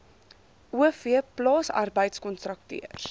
o v plaasarbeidkontrakteurs